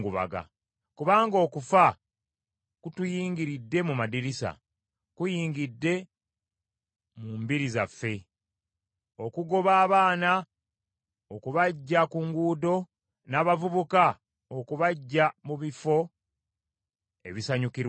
Kubanga okufa kutuyingiridde mu madirisa, kuyingidde mu mbiri zaffe, okugoba abaana okubaggya ku nguudo, n’abavubuka okubaggya mu bifo ebisanyukirwamu.